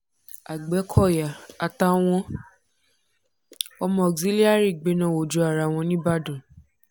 agbẹ́kọ̀yà àtàwọn ọmọ auxilliary gbẹná wojú ara wọn nìbàdàn